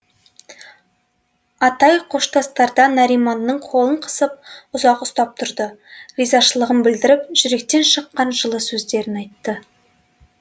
атай қоштасарда нариманның қолын қысып ұзақ ұстап тұрды ризашылығын білдіріп жүректен шыққан жылы сөздерін айтты